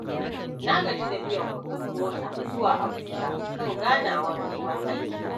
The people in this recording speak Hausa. Na gaji da biyan kuɗin mota zuwa Abuja kan ganawar neman aiki.